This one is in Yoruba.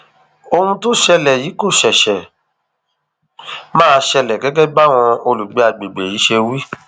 ohun tó ṣẹlẹ yìí kò ṣẹṣẹ máa ṣẹlẹ gẹgẹ báwọn olùgbé àgbègbè yìí ṣe wí